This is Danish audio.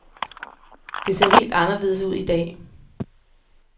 Det ser helt anderledes ud i dag.